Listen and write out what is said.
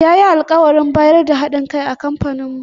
Ya yi alkawarin bayar da ha ɗin kai ga kamfaninmu.